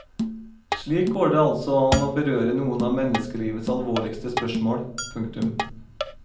Slik går det altså an å berøre noen av menneskelivets alvorligste spørsmål. punktum